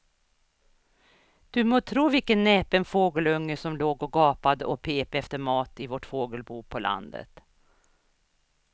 Du må tro vilken näpen fågelunge som låg och gapade och pep efter mat i vårt fågelbo på landet.